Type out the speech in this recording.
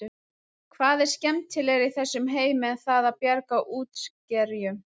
Hvað er skemmtilegra í þessum heimi en það að bjarga útskerjum?